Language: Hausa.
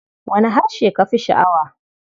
Wane harshe ka fi sha'awa?